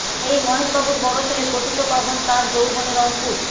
এই মহেশবাবুর বড় ছেলে পতিত পাবন তাঁর যৌবনে রংপুর